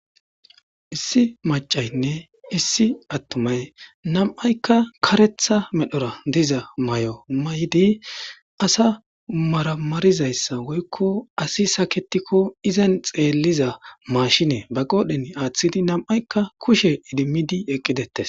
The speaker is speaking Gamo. Issi macaynne issi attumay nam'aykka karetha medhora diza may'o may'di asa maramarizayssa woykko asi saketikko izan xeelliza maashine ba qoodhen aaththidi nam'aykka kushe idimidi eqqidettes.